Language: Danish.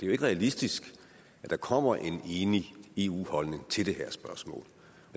jo ikke realistisk at der kommer en enig eu holdning til det her spørgsmål